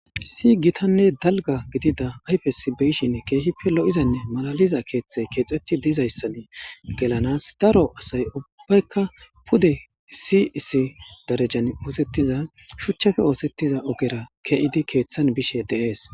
Issi gitanne dalgga gidida ayfesi be7ishenne keehippe lo7izanne malaliza keeththay keexeththi dizayssan gelanas daro asay ubbaykka pude isssi issi darejan ooseththiza shechchape ooseththiza ogera ke7izi keeththan bishee de7ees.